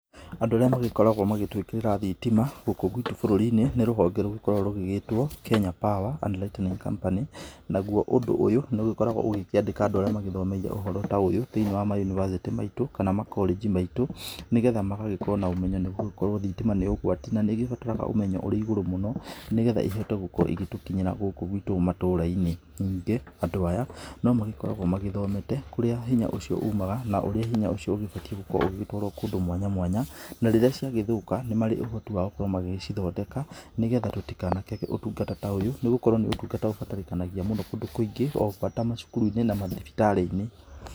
Andũ arĩa magĩkoragwo magĩtũĩkĩrĩra thitima gũkũ gwitũ bũrũri-inĩ nĩ rũhonge rũkoragwo rũgĩgĩtwo Kenya Power and lighting company. Naguo ũndũ ũyũ nĩũgĩkoragwo ũkĩandĩka andũ arĩa makoragwo mathomere ũhoro ta ũyũ thĩiniĩ wa ma university maitũ kana ma college maitũ nĩgetha magagĩkorwo na ũmenyo nĩgũgĩkorwo thitima nĩ ũgwati na nĩgĩbataraga ũmenyo ũrĩ igũrũ mũno nĩgetha ĩhote gukorwo ĩgĩtũkinyĩra gũkũ gwitũ matũra-inĩ. Ningĩ andũ aya no magĩkoragwo magĩthomete kũrĩa hinya ũcio ũmaga na ũrĩa hinya ũcio ũgĩbatiĩ gũkorwo ũgĩgĩtwarwo kũndũ mwanya mwanya. Na rĩrĩa ciagĩthũka nĩ marĩ ũhoti wa gũkorwo magĩcithondeka nĩgetha tũtikanakĩage ũtungata ta ũyũ nĩgũkorwo nĩ ũtungata ũbatarĩkanagia mũno kũndũ kũingĩ ta macukuru-inĩ na mathibitari-inĩ.